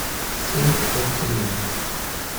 семь континент